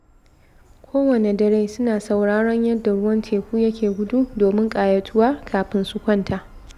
Kowanne dare, suna sauraron yadda ruwan teku yake gudu domin ƙayatuwa kafin su kwanta.